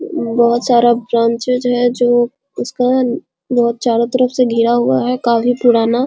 बहुत सारा ब्रांचेज है जो उसका वो चारो तरफ से घेरा हुआ है काफी पुराना --